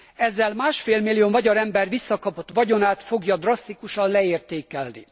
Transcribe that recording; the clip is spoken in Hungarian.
Ezzel másfélmillió magyar ember visszakapott vagyonát fogja drasztikusan leértékelni.